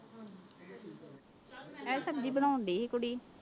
ਇਹ ਸਬਜ਼ੀ ਬਣਾਉਂਦੀ ਸੀ ਕੁੜੀ।